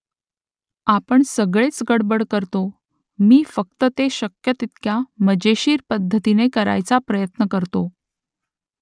आपण सगळेच गडबड करतो मी फक्त ते शक्य तितक्या मजेशीर पद्धतीने करायचा प्रयत्न करतो